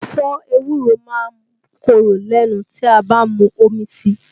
Ẹ̀fọ́ ewúro máa ń korò lẹ́nu tí a bá mu omi síi